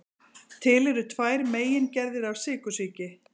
Til eru tvær megingerðir af sykursýki.